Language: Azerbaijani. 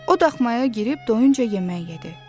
O daxmaya girib doyunca yemək yedi.